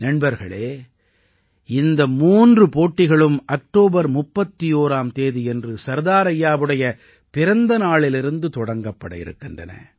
நண்பர்களே இந்த மூன்று போட்டிகளும் அக்டோபர் 31ஆம் தேதியன்று சர்தார் ஐயாவுடைய பிறந்த நாளிலிருந்து தொடங்கப்பட இருக்கின்றன